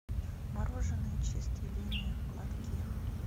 мороженое чистая линия в лотке